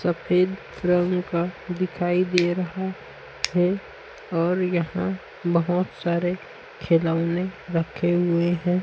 सफेद रंग का दिखाई दे रहा है और यहाँ बहोत सारे खिलौने रखे हुए हैं।